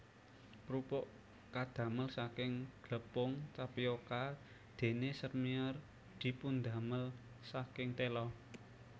Krupuk kadamel saking glepung tapioka dene sèrmièr dipundamel saking tela